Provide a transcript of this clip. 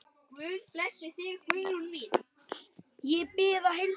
Ég bið að heilsa